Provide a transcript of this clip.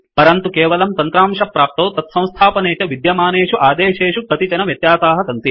परन्तु केवलं तन्त्रांशप्राप्तौ तत्संस्थापने च विद्यमानेषु आदेसेषु कतिचन व्यत्यासाः सन्ति